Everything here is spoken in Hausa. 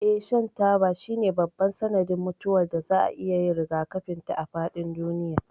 Eh, shan taba shine babban sanadin mutuwar da za a iya yin rigakafin ta a faɗin duniya.